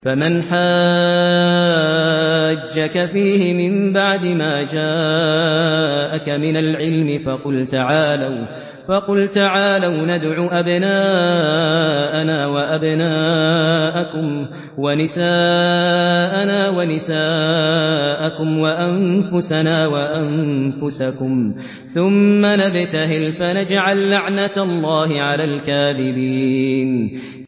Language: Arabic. فَمَنْ حَاجَّكَ فِيهِ مِن بَعْدِ مَا جَاءَكَ مِنَ الْعِلْمِ فَقُلْ تَعَالَوْا نَدْعُ أَبْنَاءَنَا وَأَبْنَاءَكُمْ وَنِسَاءَنَا وَنِسَاءَكُمْ وَأَنفُسَنَا وَأَنفُسَكُمْ ثُمَّ نَبْتَهِلْ فَنَجْعَل لَّعْنَتَ اللَّهِ عَلَى الْكَاذِبِينَ